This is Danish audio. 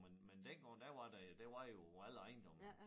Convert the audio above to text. Men men dengang der var der der var jo alle ejendomme